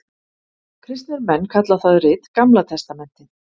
Kristnir menn kalla það rit Gamla testamentið.